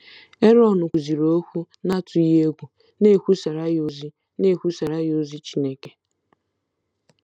Erọn kwuziri okwu n’atụghị egwu, na-ekwusara ya ozi na-ekwusara ya ozi Chineke.